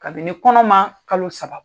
Kabini kɔnɔma kalo saba bɔ.